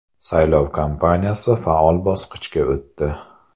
Saylov kampaniyasi faol bosqichga o‘tdi.